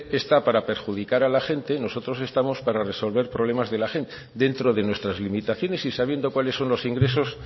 está para perjudicar a la gente nosotros estamos para resolver los problemas de la gente dentro de nuestras limitaciones y sabiendo cuáles son los ingresos